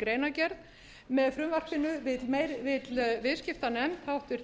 greinargerð með frumvarpinu vill háttvirtur